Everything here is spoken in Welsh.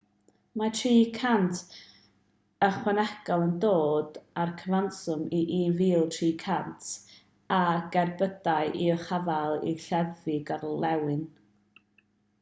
mae 300 ychwanegol yn dod â'r cyfanswm i 1,300 o gerbydau i'w caffael i leddfu gorlenwi